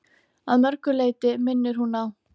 Að mörgu leyti minnir hún á